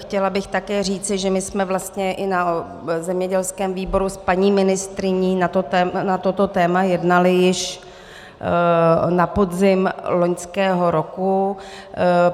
Chtěla bych také říci, že my jsme vlastně i na zemědělském výboru s paní ministryní na toto téma jednali již na podzim loňského roku.